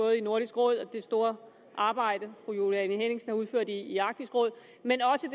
jeg store arbejde fru juliane henningsen har udført i arktisk råd men også